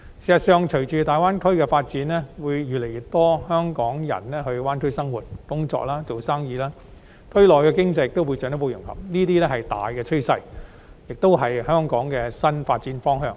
事實上，隨着大灣區的發展，會有越來越多香港人到大灣區生活、工作、營商，區內的經濟亦會進一步融合，這是大趨勢，亦是香港的新發展方向。